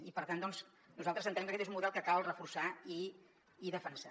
i per tant doncs nosaltres entenem que aquest és un model que cal reforçar i defensar